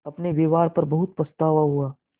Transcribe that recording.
अपने व्यवहार पर बहुत पछतावा हुआ